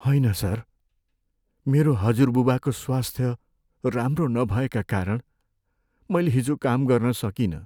होइन सर, मेरो हजुरबुबाको स्वास्थ्य राम्रो नभएका कारण मैले हिजो काम गर्न सकिनँ।